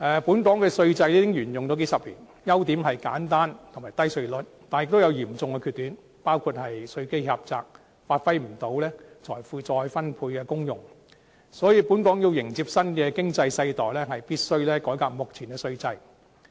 本港稅制已沿用數十年，優點是簡單和低稅率，但也有嚴重的缺點，包括稅基狹窄，無法發揮財富再分配的功用，所以本港要迎接新的經濟世代，必須改革目前的稅制。